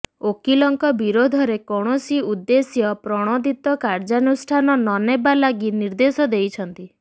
ଓକିଲଙ୍କ ବିରୋଧରେ କୌଣସି ଉଦ୍ଦେଶ୍ୟ ପ୍ରଣୋଦିତ କାର୍ଯ୍ୟାନୁଷ୍ଠାନ ନନେବା ଲାଗି ନିର୍ଦ୍ଦେଶ ଦେଇଛନ୍ତି